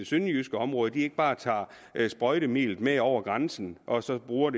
sønderjyske område ikke bare tager sprøjtemidlet med over grænsen og så bruger